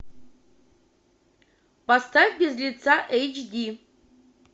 поставь без лица эйч ди